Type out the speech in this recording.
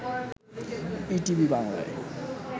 ETV বাংলায়